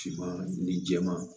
Finman ni jɛman